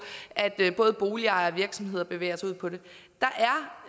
at både boligejere og virksomheder bevæger sig ud på det